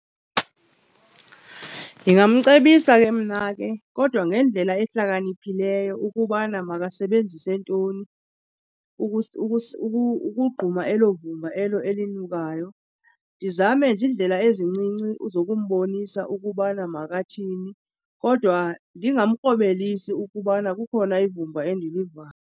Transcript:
Ndingamcebisa ke mna ke kodwa ngendlela ehlakaniphileyo ukubana makasebenzise ntoni ukugquma elo vumba elo elinukayo. Ndizame nje iindlela ezincinci zokumbonisa ukubana makathini kodwa ndingamkrobelisi ukubana kukhona ivumba endiliva.